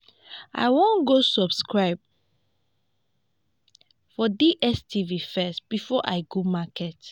i wan go subscribe for dstv first before i go market